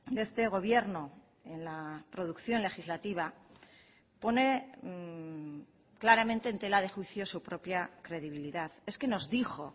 de este gobierno en la producción legislativa pone claramente en tela de juicio su propia credibilidad es que nos dijo